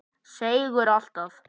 Seigur alltaf.